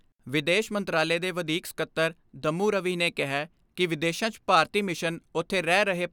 ਵਿਦੇਸ਼ ਮੰਤਰਾਲੇ ਦੇ ਵਧੀਕ ਸਕੱਤਰ ਦਮੂੰ ਰਵੀ ਨੇ ਕਿਹੈ ਕਿ ਵਿਦੇਸ਼ਾਂ 'ਚ ਭਾਰਤੀ ਮਿਸ਼ਨ ਉਥੇ ਰਹਿ ਰਹੇ